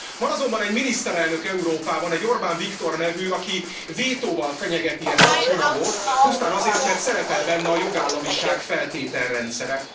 Van azonban egy miniszterelnök Európában, egy Orbán Viktor nevű, aki vétóval fenyegeti ezt a csomagot, pusztán azért, mert szerepel benne a jogállamiság feltételrendszere.